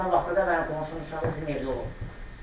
Həmin vaxtı da mənim qonşunun uşağı bizim evdə olub.